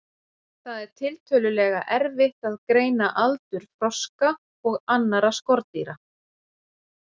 Það er tiltölulega erfitt að greina aldur froska og annarra froskdýra.